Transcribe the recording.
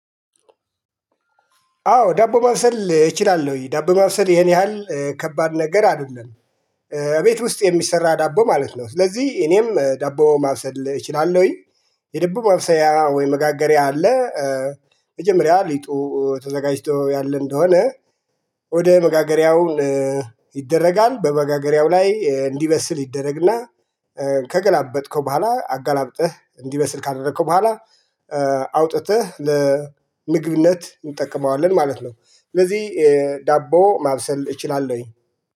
አዎ ዳቦ ማብሰል እችላለሁኝ ዳቦ ማብሰል ይሄን ያህል ከባድ ነገር አይደለም። ቤት ውስጥ የሚሰራ ዳቦ ማለት ነው። ስለዚህ እኔም ዳቦ ማብሰል እችላለሁኝ። የዳቦ ማብሰያ ወይ መጋገሪያ አለ። መጀመሪያ ሊጡ ተዘጋጅቶ ያለ እንደሆነ። ወደ መጋገሪያው ይደረጋል በመጋገሪያው ላይ እንዲበስል ይደረግና። ከገላበጥከው በኋላ አገላብጠህ እንዲበስል ካደረከው በኋላ። አውጥተህ ለምግብነት እንጠቀመዋለን ማለት ነው። ስለዚህ ዳቦ ማብሰል እችላለሁኝ።